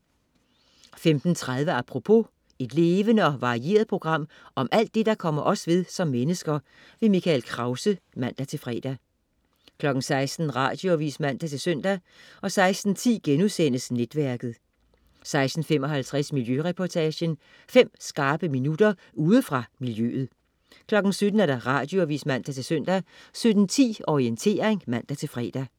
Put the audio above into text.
15.30 Apropos. Et levende og varieret program om alt det, der kommer os ved som mennesker. Mikkel Krause (man-fre) 16.00 Radioavis (man-søn) 16.10 Netværket* 16.55 Miljøreportagen. Fem skarpe minutter ude fra miljøet 17.00 Radioavis (man-søn) 17.10 Orientering (man-fre)